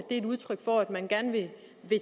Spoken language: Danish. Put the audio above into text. er et udtryk for at man gerne vil